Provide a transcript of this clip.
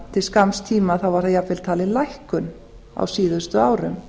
til skamms tíma var þar jafnvel talin lækkun á síðustu árum